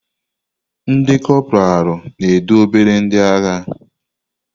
Ndi kopralu na-edu obere ndị agha.